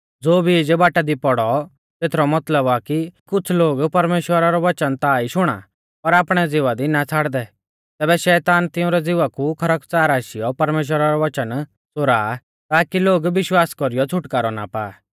ज़ो बीज बाटा दी पोड़ौ तेथरौ मतलब आ कि कुछ़ लोग परमेश्‍वरा रौ वच़न ता ई शुणा पर आपणै ज़िवा दी ना छ़ाड़दै तैबै शैतान तिंउरै ज़िवा कु खरकच़ार आशीयौ परमेश्‍वरा रौ वच़न च़ोरा ताकी लोग विश्वास कौरीयौ छ़ुटकारौ ना पा